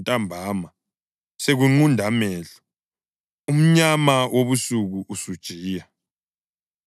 ntambama sekunqunda amehlo, umnyama wobusuku usujiya.